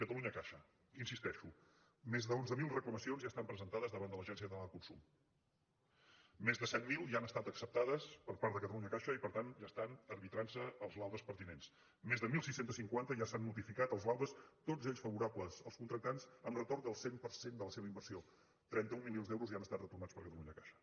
catalunyacaixa hi insisteixo més d’onze mil reclamacions ja estan presentades davant de l’agència catalana de consum més de set mil ja han estat acceptades per part de catalunyacaixa i per tant ja estan arbitrant se els laudes pertinents més de setze cinquanta ja s’han notificat els laudes tots ells favorables als contractants amb retorn del cent per cent de la seva inversió trenta un milions d’euros ja han estat retornats per catalunyacaixa